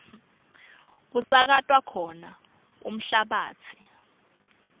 kusakatwa khona umhlabatsi